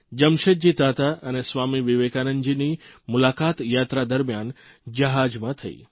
જમશેદજી તાતા અને સ્વામી વિવેકાનંદજીની મુલાકાત યાત્રા દરમિયાન જહાજમાં થઇ હતી